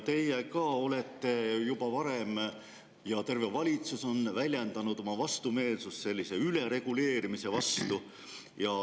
Te olete juba varem väljendanud – terve valitsus on väljendanud – oma vastumeelsust sellise ülereguleerimise suhtes.